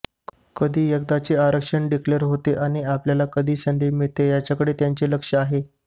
कधी एकदाचे आरक्षण डिक्लेर होते अन् आपल्याला कधी संधी मिळते याकडे त्यांचे लक्ष आहे